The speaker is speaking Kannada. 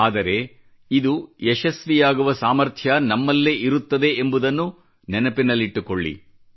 ಆದರೆ ಇದು ಯಶಸ್ವಿಯಾಗುವ ಸಾಮರ್ಥ್ಯ ನಮ್ಮಲ್ಲೇ ಇರುತ್ತದೆ ಎಂಬುದನ್ನು ನೆನಪಿನಲ್ಲಿಟ್ಟುಕೊಳ್ಳಿ